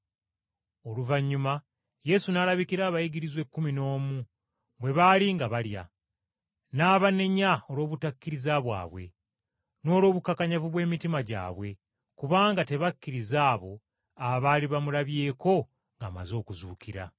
Oluvannyuma Yesu n’alabikira abayigirizwa ekkumi n’omu bwe baali nga balya. N’abanenya olw’obutakkiriza bwabwe, n’olw’obukakanyavu bw’emitima gyabwe kubanga tebakkiriza abo abaali bamulabyeko ng’amaze okuzuukira.